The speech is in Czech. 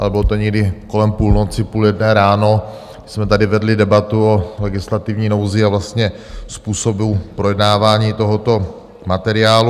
Ale bylo to někdy kolem půlnoci, půl jedné ráno, jsme tady vedli debatu o legislativní nouzi a vlastně způsobu projednávání tohoto materiálu.